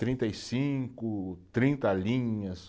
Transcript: Trinta e cinco, trinta linhas.